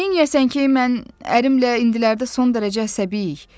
Neyləyəsən ki, mən ərimlə indilərdə son dərəcə əsəbiyik.